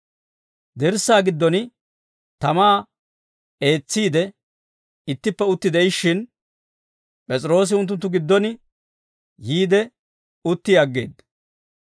Dirssaa giddon tamaa eetsiide, ittippe utti de'ishshin, P'es'iroosi unttunttu giddon yiide utti aggeedda.